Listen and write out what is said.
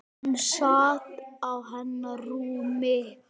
Hann sat á hennar rúmi!